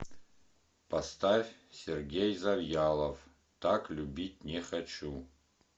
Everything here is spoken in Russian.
поставь сергей завьялов так любить не хочу